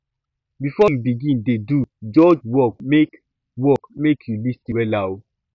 bifor yu begin dey do judge work mek work mek yu lis ten wella o